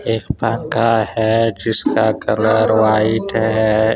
जिसका colour white है।